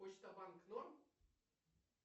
почта банк норм